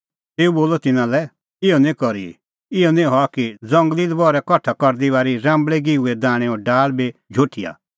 तेऊ बोलअ तिन्नां लै इहअ निं करी इहअ निं हआ कि ज़ंगली लबहरै कठा करदी बारी राम्बल़ै गिंहूंए दैणैंओ डाल़ बी झोठिआ